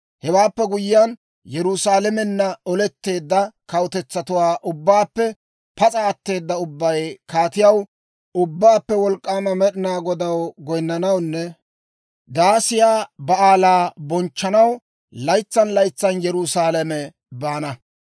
Hewaappe guyyiyaan, Yerusaalamenna oletteedda kawutetsatuwaa ubbaappe pas'a atteeda ubbay Kaatiyaw, Ubbaappe Wolk'k'aama Med'inaa Godaw goyinnanawunne Daasiyaa Ba'aalaa bonchchanaw laytsan laytsan Yerusaalame baana.